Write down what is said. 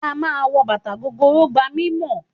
Kí á máa wọ bàtà gogoro gba mímọ̀.